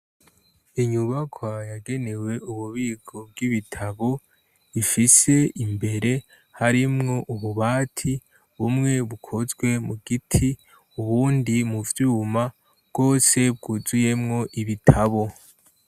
Inyubakwa yagenewe ububiko bw'ibitabo ifise imbere harimwo ububati, bumwe bukozwe mu giti ubundi mu vyuma, bwose bwuzuyemwo ibitabo.